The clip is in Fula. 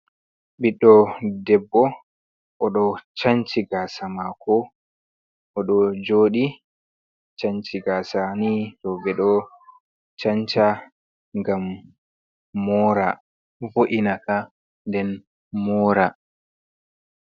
Ɓiɗɗo debbo o ɗo canci gasa mako o ɗo joɗi canci. Gaasa nii rowɓe ɗo canca ngam mora vo’ina ka den mora.